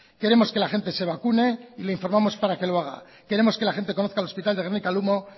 queremos que la gente se vacune y le informamos para que lo haga queremos que la gente conozca el hospital de gernika lumo